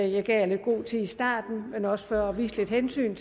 jeg gav lidt god tid i starten men også for at vise hensyn